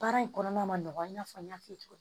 Baara in kɔnɔna i n'a fɔ n y'a f'i ye cogo min